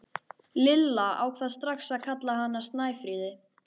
Lilla ákvað strax að kalla hana Snæfríði.